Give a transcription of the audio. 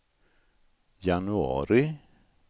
januari